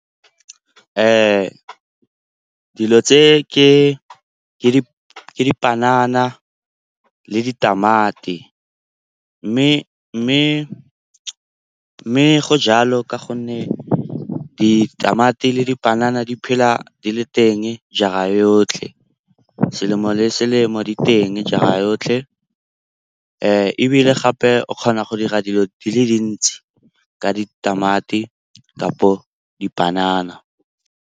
Dilo tse ke dipanana le ditamati mme go jalo ka gonne ditamati le dipanana di phela di le teng jara yotlhe, selemo le selemo di teng jara yotlhe. Ebile gape o kgona go dira dilo di le dintsi ka ditamati kapo dipanana.